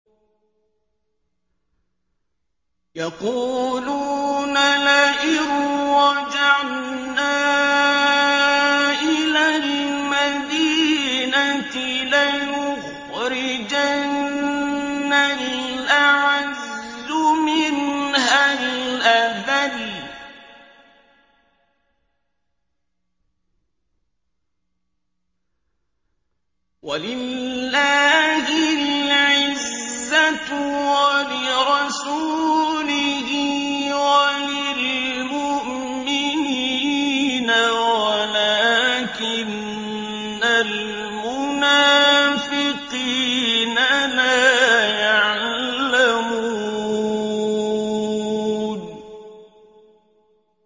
يَقُولُونَ لَئِن رَّجَعْنَا إِلَى الْمَدِينَةِ لَيُخْرِجَنَّ الْأَعَزُّ مِنْهَا الْأَذَلَّ ۚ وَلِلَّهِ الْعِزَّةُ وَلِرَسُولِهِ وَلِلْمُؤْمِنِينَ وَلَٰكِنَّ الْمُنَافِقِينَ لَا يَعْلَمُونَ